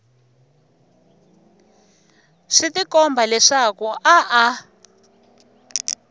swi tikomba leswaku a a